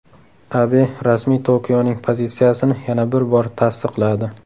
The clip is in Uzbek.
Abe rasmiy Tokioning pozitsiyasini yana bir bor tasdiqladi.